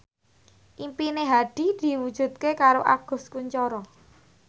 impine Hadi diwujudke karo Agus Kuncoro